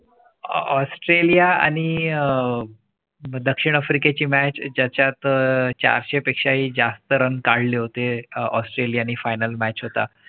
Australia आणि अं दक्षिण आफ्रिके ची match ज्याच्यात चार स पेक्षाही जास्त Run काढले होते. ऑस्ट्रेलिया आणि final match होता